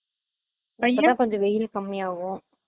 அப்போ தான் வெயில் கொஞ்சம் கம்மி ஆகும்